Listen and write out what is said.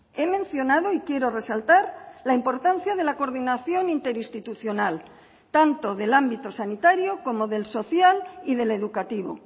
he mencionado y quiero resaltar la importancia de la coordinación interinstitucional tanto del ámbito sanitario como del social y del educativo